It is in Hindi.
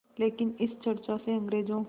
लेकिन इस चर्चा से अंग्रेज़ों